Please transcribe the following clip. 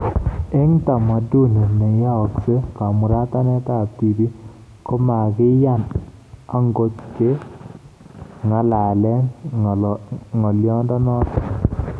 Eng tamaduni ne yaakse kamuratanet ab tibik komagiyani angot ke ng'alalee ng'alyonoto